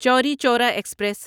چوری چورا ایکسپریس